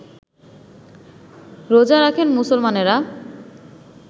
রোজা রাখেন মুসলমানেরা